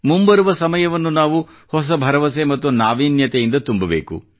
ಮುಂಬರುವ ಸಮಯವನ್ನು ನಾವು ಹೊಸ ಭರವಸೆ ಮತ್ತು ನಾವೀನ್ಯತೆಯಿಂದ ತುಂಬಬೇಕು